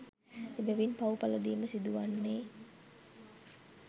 එබැවින් පව් පලදීම සිදුවන්නේ